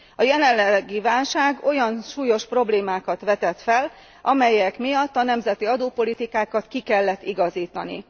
A jelenlegi válság olyan súlyos problémákat vetett fel, amelyek miatt a nemzeti adópolitikákat ki kellett igazítani.